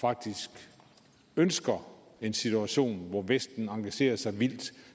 faktisk ønsker en situation hvor vesten engagerer sig vildt